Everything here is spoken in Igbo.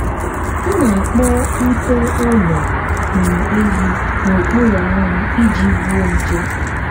m na-akpọ ute ụlọ um ehi n’okpuru anwụ iji gbuo nje.